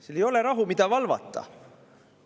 Seal ei ole rahu, mida valvata.